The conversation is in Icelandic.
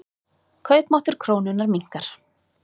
Kaupmáttur krónunnar minnkar.